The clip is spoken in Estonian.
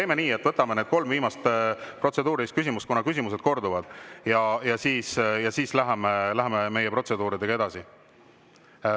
Teeme nii, et võtame need kolm viimast protseduurilist küsimust, kuna küsimused korduvad, ja siis läheme meie protseduuridega edasi.